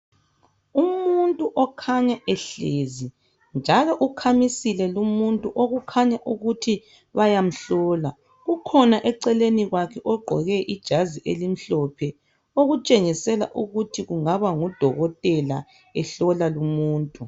Umuntu okhanya ehlezi, njalo ukhamisile lumuntu okukhanya ukuthi bayamhlola. Ukhona eceleni kwakhe ogqoke ijazi elimhlophe okutshengisela ukuthi kungaba ngudokotela ehlola lumuntu.